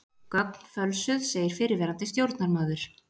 Gögn fölsuð segir fyrrverandi stjórnarmaður